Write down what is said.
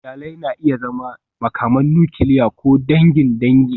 Iyali na iya zama makaman nukiliya ko dangin dangi.